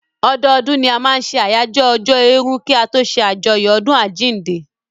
Ọdọdún ni a máa n ṣe àyájọ́ ọjọ́ èèrù kí a tó ṣé àjọyọ̀ ọdún àjínde